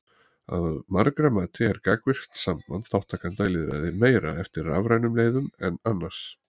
Að margra mati er gagnvirkt samband þátttakenda í lýðræði meira eftir rafrænum leiðum en annars.